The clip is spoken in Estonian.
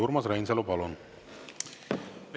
Urmas Reinsalu, palun!